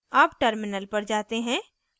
अब terminal पर जाते हैं